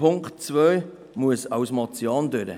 Punkt 2 muss als Motion durchgehen.